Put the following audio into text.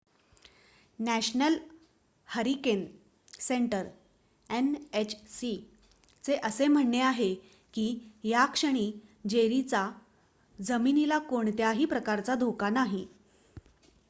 national hurricane centre nhc चे असे म्हणणे आहे की या क्षणी जेरीचा जमिनीला कोणत्याही प्रकारचा धोका नाही